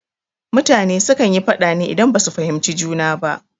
Mutane su kan yi faɗa ne idan ba su fahimci juna ba